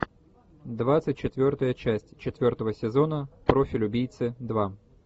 двадцать четвертая часть четвертого сезона профиль убийцы два